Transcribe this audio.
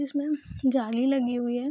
इसमें जाली लगी हुई है।